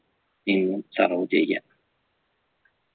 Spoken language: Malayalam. നിന്നും serve ചെയ്യാം